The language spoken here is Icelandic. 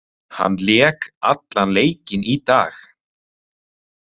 Hann lék allan leikinn í dag.